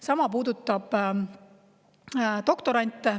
Sama puudutab doktorante.